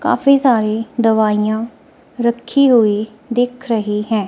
काफी सारी दवाईयां रखी हुई दिख रही हैं।